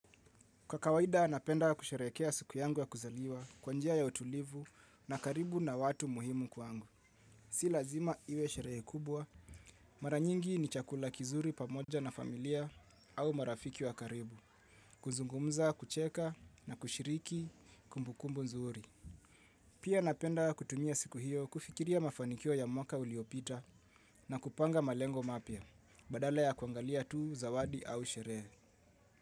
Kwa kawaida, napenda kusherehekea siku yangu ya kuzaliwa kwa njia ya utulivu na karibu na watu muhimu kwangu. Si lazima iwe sherehe kubwa, mara nyingi ni chakula kizuri pamoja na familia au marafiki wa karibu, kuzungumza, kucheka na kushiriki kumbukumbu nzuri. Pia napenda kutumia siku hiyo kufikiria mafanikio ya mwaka uliopita na kupanga malengo mapya badala ya kuangalia tu zawadi au sherehe.